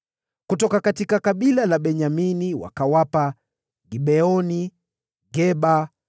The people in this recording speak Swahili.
Kutoka kabila la Benyamini wakawapa Gibeoni, Geba,